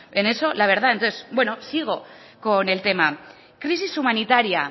en eso no sigo con el tema crisis humanitaria